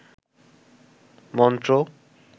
মন্ত্র